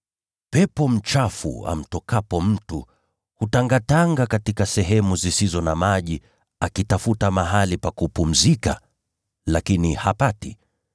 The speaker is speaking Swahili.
“Pepo mchafu amtokapo mtu, hutangatanga katika sehemu zisizo na maji akitafuta mahali pa kupumzika, lakini hapati.